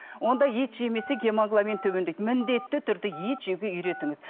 онда ет жемесе гемоглобин төмендейді міндетті түрде ет жеуге үйретіңіз